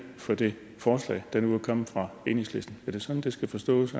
for det forslag der nu er kommet fra enhedslisten er det sådan det skal forstås